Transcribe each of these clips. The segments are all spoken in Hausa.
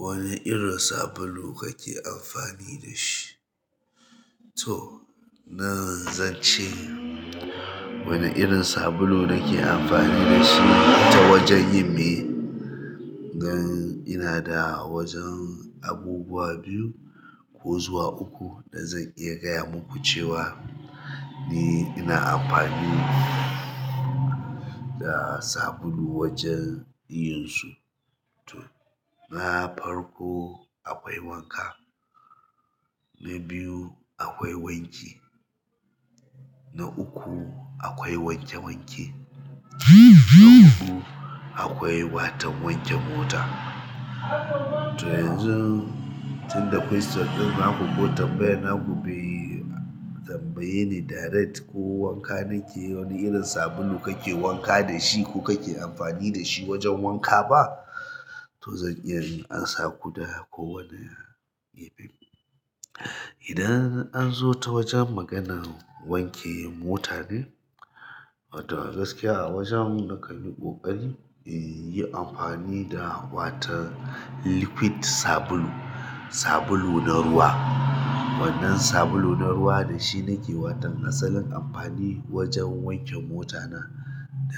Wane irin sabulu kake amfani da shi? Toh nan zan ce wane irin sabulu nake amfani da shi ta wajen yin me? Nan ina da wajen abubuwa biyu ko zuwa uku da zan iya gaya muku cewa ni ina amfani da sabulu wajen yin su. To, na farko akwai wanka. Na biyu akwai wanki. Na uku akwai wanke wanke. Na huɗu akwai watan wanke mota. To yanzu tun da question ɗin naku ko tambayan naku be tambaye ni direct ko wanka nake wane irin sabulu kake wanka da shi ko kake amfani da shi wajen wanka ba? To zan iya in ansa ku da ko wane irin. Idan an zo ta wajen maganan wanke mota ne, wato a gaskiya a wajen nakan yi ƙoƙari in yi amfani da watan liquid sabulu, sabulu na ruwa. Wannan sabulu na ruwa dashi nake wato asalin anfani wajen wanke mota na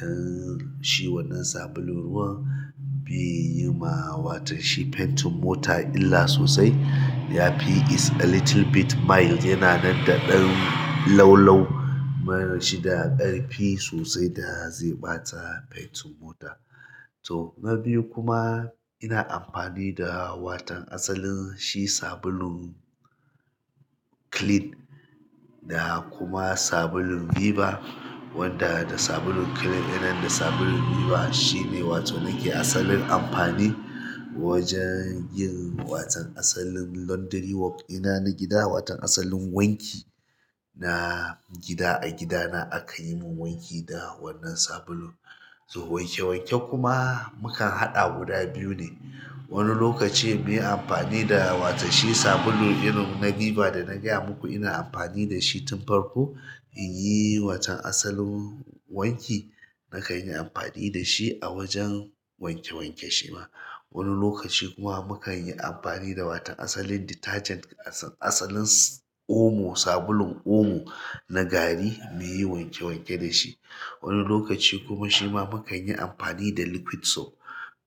dan shi wannan sabulun ruwa bai yi ma watan shi paintin mota illa sosai. Yafi is a little bit mild. Yana nan da ɗan laulau. Ba shi da ƙarfi sosai da zai ɓata paintin mota. To, na biyu kuma ina amfani da watan asalin shi sabulun clean da kuma sabulun Viva. Wanda da sabulun clean ɗinnan da sabulun Viva shine wato nake asalin amfani wajen yin watan asalin laundry work ɗina na gida. Watan asalin wanki na gida a gida na akan yi mun wanki da wannan sabulun. To wanke wanke kuma mukan haɗa guda biyu ne. Wani lokaci muyi amfani da watan shi sabulu irin na Viva da na gaya muku ina amfani da shi tun farko in yi watan asalin wanki. Nakan yi amfani da shi a wajen wanke wanke shi ma. Wani lokaci kuma mukan yi amfani da watan asalin detergent asalin Omo, sabulun Omo na gari muyi wanke wanke da shi. Wani lokaci kuma shi ma mukan yi amfani da liquid soap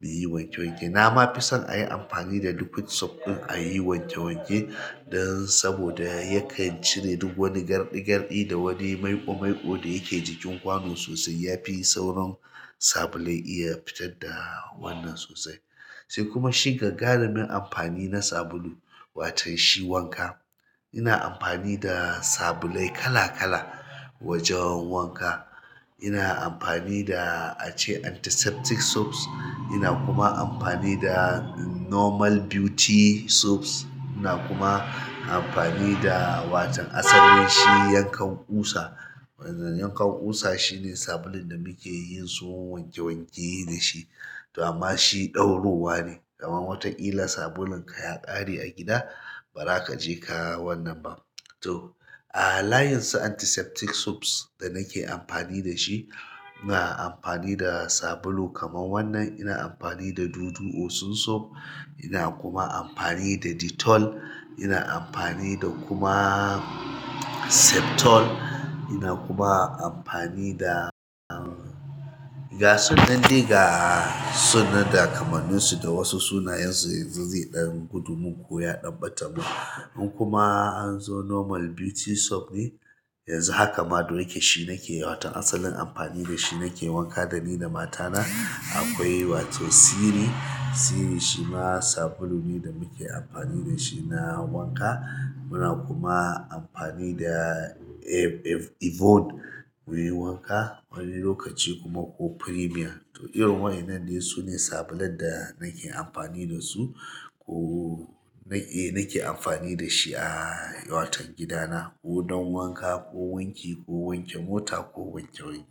muyi wanke wanke. Na ma fi son a yi amfani da liquid soap ɗin a yi wanke wanke dan saboda yakan cire duk wani garɗi garɗi da wani maiko maiko da yake jikin kwano sosai. Yafi sauran sabulai iya fitar da wannan sosai. Sai kuma shi gagarumin amfani na sabulu watan shi wanka. Ina amfani da sabulai kala kala wajen wanka. Ina amfani da ace antiseptic soaps. Ina kuma amfani da normal beauty soaps. Ina kuma amfani da watan asalin shi yankan ƙusa. Yankan ƙusa shine sabulun da muke yin su wanke wanke da shi. Da amma shi ɗauruwa ne. Kaman watan illa sabulun ka ya ƙare a gida, bara kaje kaa wannan ba. To, a layin su antiseptic soaps da nake amfani da shi, ina amfani da sabulu kaman wannan. Ina amfani da Dudu Osun soap. Ina kuma amfani da Dettol. Ina amfani da kuma Septol. Ina kuma amfani da gasunnan dai ga sunan da kamanin su da wasu sunayen su yanzu zai ɗan gudu mun ko ya ɗan ɓata mun. In kuma an zo normal beauty soap ne, yanzu haka ma da yake shi nake waton asalin amfani da shi nake wanka dani da matana. Akwai wato Siri. Siri shi ma sabulu ne da muke amfani da shi na wanka. Muna kuma amfani da Yvonne muyi wanka. Wani lokaci kuma ko Premier. To irin wannan ne sune sabulan da nake amfani da su ko na ke, nake amfani da shi a watan gida na ko don wanka ko wanki ko wanke mota ko wanke wanke.